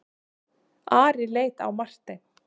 Ari leit á Martein.